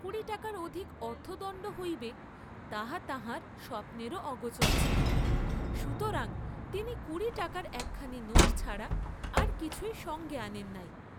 কুড়ি টাকার অধিক অর্থদণ্ড হইবে তাহা তাঁহার স্বপ্নেরও অগোচর ছিল, সুতরাং তিনি কুড়ি টাকার একখানি নোট ছাড়া আর কিছুই সঙ্গে আনেন নাই।